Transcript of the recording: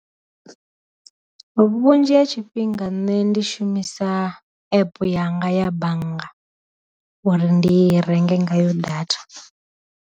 Vhunzhi ha tshifhinga nṋe ndi shumisa epe yanga ya bannga uri ndi renge ngayo data.